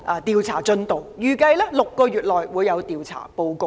調查委員會預計6個月內會完成調查報告。